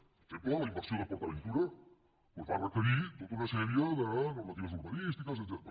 per exemple la inversió de port aventura va requerir tota una sèrie de normatives urbanístiques etcètera